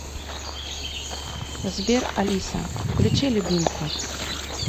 сбер алиса включи любимку